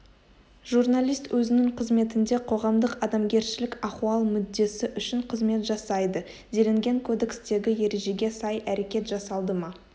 журналист өзінің қызметінде қоғамдық адамгершілік ахуал мүддесі үшін қызмет жасайды делінген кодекстегі ережеге сай әрекет жасалды ма